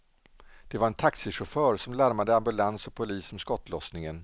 Det var en taxichaufför som larmade ambulans och polis om skottlossningen.